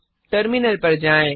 terminal पर जाएँ